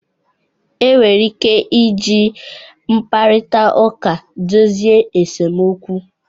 Enwere ike iji mkparita uka dozie esemokwu